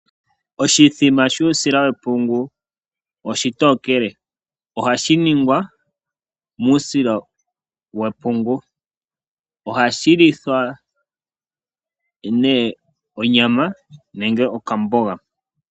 Oshithima shuusila wepungu oshitookele. Ohashi ningwa muusila wepungu. Ohashi lithwa onyama nenge okamboga.